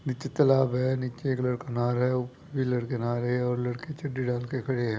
नीचे तलाब हैं नीचे एक लड़का नहारा हैं उप-- भी लड़के नहारे हैं और लड़के चड्डी डालके खड़े हैं।